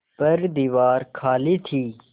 पर दीवार खाली थी